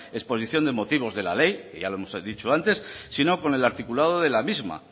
exposición de motivos de la ley que ya lo hemos dicho antes sino con el articulado de la misma